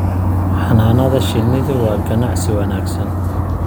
Xannaanada shinnidu waa ganacsi wanaagsan.